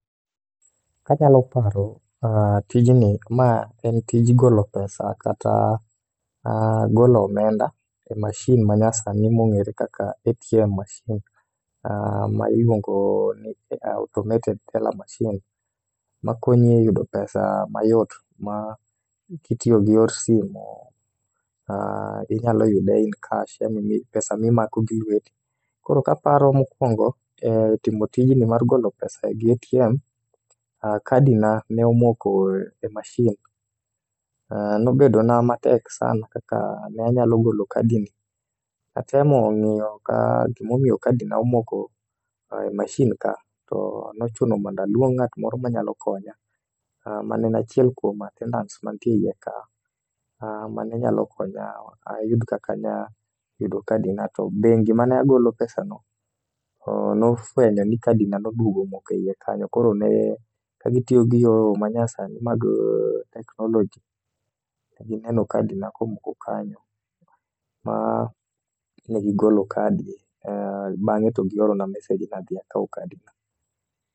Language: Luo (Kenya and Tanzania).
Ka anyalo paro tijni ma en tij golo pesa kata golo omenda e machine ma nyasani ma ong'ere kaka ATM masin ma iluongo ni automated teller machine ma konyo e yudo pesa mayot mi itiyo gi yor simu anyalo yudo in cash pesa mi imako gi lweti .Koro ka paro mokuongo timo tijni mar golo pesa gi atm, kadi na ne omoko e mashin ,nobedo na matek sana kaka ne anyalo golo kadi ni atemo ng'iyo gi ma omiyo kadi na omoko e masin ka to ne ochuno mondo aluong ng'ato moro ma ne nyalo konya ma ne en achiel kuom attendants ma nitie iye ka ma ne nya konya ayud kaka anyalo yudo kadi na. To bengi ma ne agolo e pesa no ne ofwenyo ni kadi na ne odhi omoko e iye kanyo koro ka ne gi tiyo gi yoo ma nyasani mag teknoloji to gi neno kadi na ko moko kanyo ma ne gi golo kadi bang'e to gi oro na message ni adhi akaw kadi na.